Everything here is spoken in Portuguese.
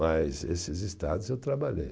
Mas esses estados eu trabalhei.